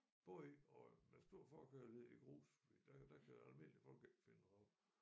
Både og med stor forkærlighed i grus fordi der kan der kan almindelige folk ikke finde rav